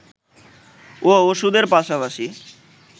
ও ওষুধের পাশাপাশি